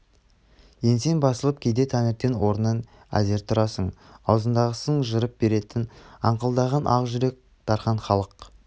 еңсең басылып кейде таңертең орныңнан әзер тұрасың аузындағысын жырып беретін аңқылдаған ақ жүрек дархан халық